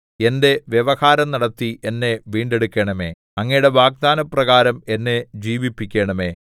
എന്റെ വ്യവഹാരം നടത്തി എന്നെ വീണ്ടെടുക്കണമേ അങ്ങയുടെ വാഗ്ദാനപ്രകാരം എന്നെ ജീവിപ്പിക്കണമേ